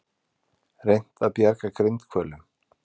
Reynt að bjarga grindhvölum